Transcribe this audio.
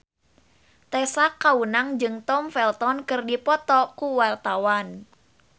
Tessa Kaunang jeung Tom Felton keur dipoto ku wartawan